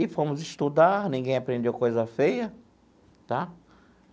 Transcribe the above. E fomos estudar, ninguém aprendeu coisa feia tá?